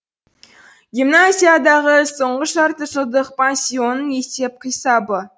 гимназиядағы соңғы жартыжылдық пансионның есеп қисабы